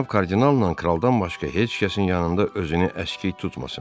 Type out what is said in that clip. Cənab kardinalla kraldan başqa heç kəsin yanında özünü əskik tutmasın.